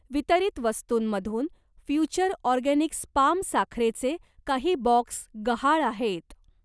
वितरित वस्तूंमधून future organics palm साखरेचे काही बॉक्स गहाळ आहेत.